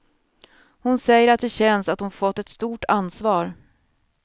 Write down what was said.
Hon säger att det känns att hon har fått ett stort ansvar.